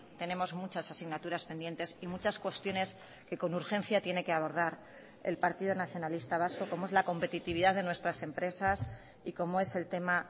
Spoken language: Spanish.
tenemos muchas asignaturas pendientes y muchas cuestiones que con urgencia tiene que abordar el partido nacionalista vasco como es la competitividad de nuestras empresas y como es el tema